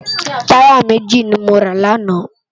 Tàyá méji ni mó rá làná